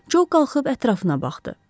Co qalxıb ətrafına baxdı.